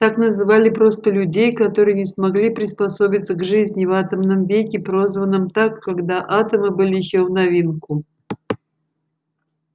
так называли просто людей которые не смогли приспособиться к жизни в атомном веке прозванном так когда атомы были ещё в новинку